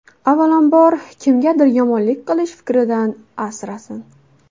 Avvalom kimgadir yomonlik qilish fikridan asrasin.